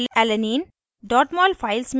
* phenylalanine